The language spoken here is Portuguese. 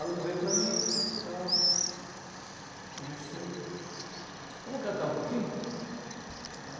Aluno veio para mim, tal, conversei, vamos cantar um pouquinho, né.